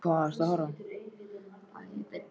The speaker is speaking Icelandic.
Þú stendur þig vel, Alfífa!